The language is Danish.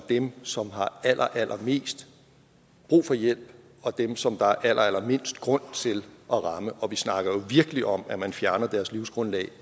dem som har allerallermest brug for hjælp dem som der er allerallermindst grund til at ramme vi snakker jo virkelig om at man fjerner deres livsgrundlag